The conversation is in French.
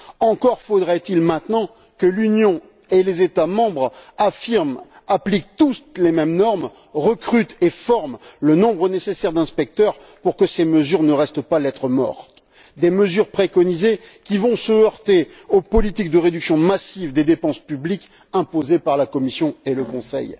Encore faudrait il maintenant que l'Union et les États membres affirment et appliquent tous les mêmes normes, recrutent et forment le nombre nécessaire d'inspecteurs pour que ces mesures ne restent pas lettre morte des mesures préconisées qui vont se heurter aux politiques de réduction massive des dépenses publiques imposées par la Commission et le Conseil.